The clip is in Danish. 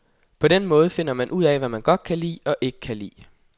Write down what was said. På den måde finder man ud af, hvad man godt kan lide og ikke lide.